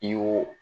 I y'o